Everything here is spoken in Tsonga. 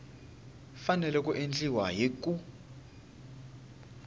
fanele ku endliwa hi ku